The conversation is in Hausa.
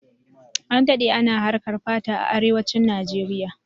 An dade ana harkan fata a arewancin Nijeriya